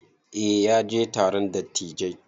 Eh ya je taron dattijai.